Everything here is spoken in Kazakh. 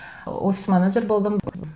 офис менеджер болдым өзім